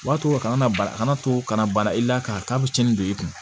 O b'a to a kana na bana kana to kana bana i la ka k'a bɛ tiɲɛni don i kun